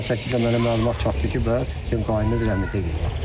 Dünən saat 8-də mənə məlumat çatdı ki, bəs qaynım rəhmətə gedib.